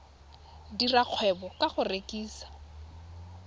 dira kgwebo ka go rekisa